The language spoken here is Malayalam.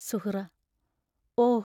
സുഹ്റാ ഓ!